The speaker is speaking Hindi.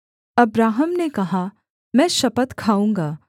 अब्राहम ने कहा मैं शपथ खाऊँगा